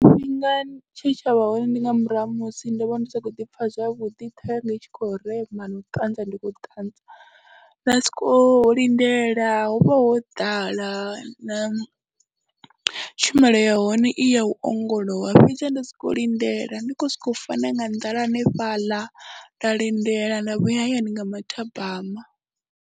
Tshifhinga tshe tsha vha hone ndi nga murahu ha musi ndo vha ndi sa khou ḓi pfha zwavhuḓi ṱhoho yanga i tshi khou rema na u ṱanza ndi khou ṱanza, nda sokou lindela, ho vha ho ḓala na tshumelo ya hone i ya u ongolowa fhedzaha nda sokou lindela, ndi khou sokou fa na nga nḓala hanefhaḽa, nda lindela nda vhuya hayani nga mathabama.